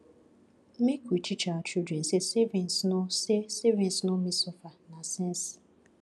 make we teach our children say saving no say saving no mean suffer na sense